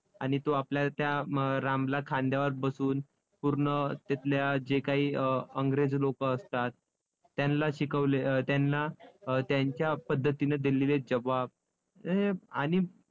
आणि तो आपल्या त्या रामला खांद्यावर बसवून पूर्ण तिथल्या जे काही अं अंग्रेज लोकं असतात, त्यांला शिकवले अं त्यांना अं त्यांच्या पद्धतीने दिलेले जबाब हे आणि